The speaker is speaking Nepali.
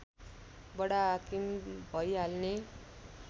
बडाहाकिम भइहाल्ने